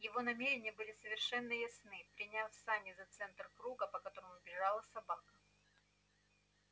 его намерения были совершенно ясны приняв сани за центр круга по которому бежала собака